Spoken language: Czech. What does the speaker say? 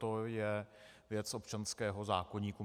To je věc občanského zákoníku.